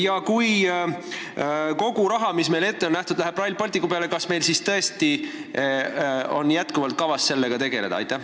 Ja kui kogu raha, mis meile on ette nähtud, läheb Rail Balticu peale, kas meil ikka on endiselt kavas sellega tegeleda?